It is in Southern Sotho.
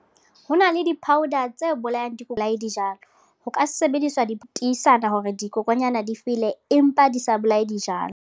Ho na le di-powder tse bolayang di bolaye dijalo. Ho ka sebediswa ditisana hore dikokonyana di fele, empa di sa bolae dijalo.